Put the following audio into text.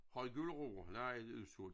Har i gulerødder? Nej det udsolgt